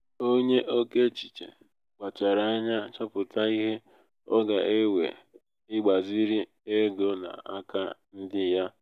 onye oké echiche kpachara anya chọpụta ihe ọ ga-ewe ịgbaziri ego n'aka ndị ya.